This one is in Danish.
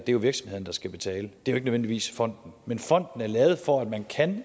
jo virksomhederne der skal betale det er nødvendigvis fonden men fonden er lavet for at man